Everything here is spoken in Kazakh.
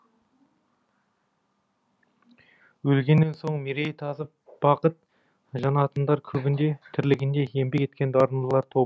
өлгеннен соң мерейі тасып бақыт жанатындар көбінде тірілігінде еңбек еткен дарындылар тобы